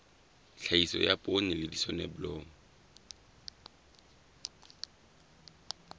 tlhahiso ya poone le soneblomo